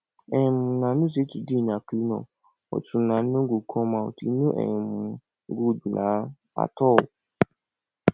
um una know say today na clean up but una no go come out e no um good um at all